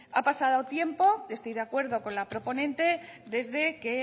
ha pasado tiempo estoy de acuerdo con la proponente desde que